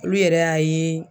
Olu yɛrɛ y'a ye